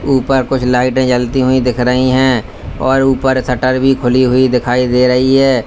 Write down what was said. ऊपर कुछ लाइटे जलती हुई दिख रही है और ऊपर शटर भी खुली हुई दिखाई दे रही है।